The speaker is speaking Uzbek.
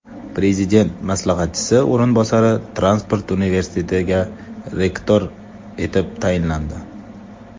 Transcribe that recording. Prezident maslahatchisi o‘rinbosari Transport universitetiga rektor etib tayinlandi.